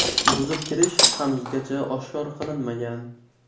Buzib kirish hanuzgacha oshkor qilinmagan.